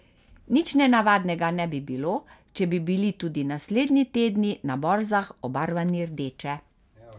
Nič nenavadnega ne bi bilo, če bi bili tudi naslednji tedni na borzah obarvani rdeče.